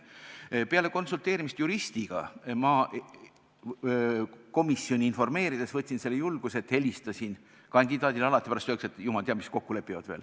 Peale juristiga konsulteerimist ma informeerisin komisjoni ja võtsin selle julguse, et helistasin kandidaadile – muidu pärast veel öeldakse, et jumal teab, milles kokku lepivad.